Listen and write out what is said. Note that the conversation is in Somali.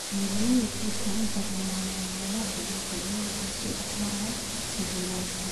Beeralayda qoysku inta badan waa maamulayaasha dhulka, iyaga oo sii dhex maraya jiilalka.